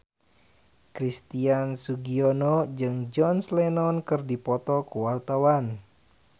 Christian Sugiono jeung John Lennon keur dipoto ku wartawan